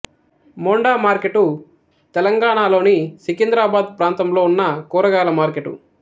Monda market తెలంగాణలోని సికింద్రాబాదు ప్రాంతంలో ఉన్న కూరగాయల మార్కెటు